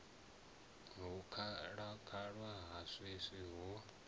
hu khalaṅwaha ya swiswi ho